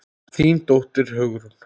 Þín dóttir, Hugrún.